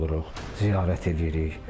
Ziyarət eləyirik.